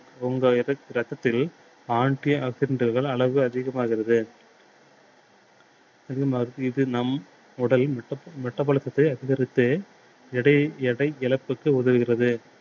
உங்கள் ரத்தத்தில் anti oxidant டுகள் அளவு அதிகமாகிறது. அதே மாதிரி இது நம் உடல் metabolism சத்தை அதிகரித்து எடையை எடை இழப்புக்கு உதவுகிறது.